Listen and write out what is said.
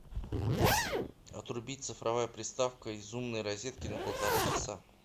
отрубить цифровая приставка из умной розетки на полтора часа